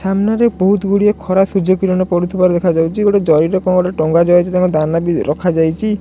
ସାମ୍ନାରେ ବହୁତ୍ ଗୁଡ଼ିଏ ଖରା ସୁଯ୍ୟ କିରଣ ପଡୁଥିବାର ଦେଖା ଯାଉଛି ଗୋଟେ ଯାରିରେ କଣ ଟେ ଟଙ୍ଗା ଯାଇଚି ଦାନା ବି ରଖାଯାଇଛି।